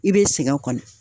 I be sɛgɛn kɔnɔ